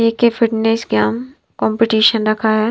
A K fitness game competition रखा है।